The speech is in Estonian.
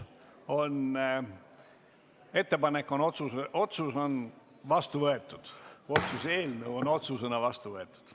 Otsuse eelnõu on otsusena vastu võetud.